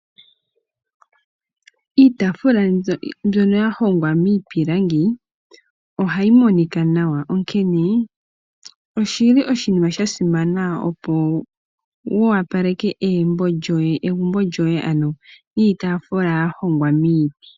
Iitaafula mbyono ya hongwa miipilangi ohayi monika nawa onkene oshili oshinima shasimana opo wu opaleke egumbo lyoye ano niitaafula ya hongwa miiti.